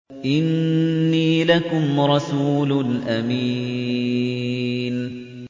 إِنِّي لَكُمْ رَسُولٌ أَمِينٌ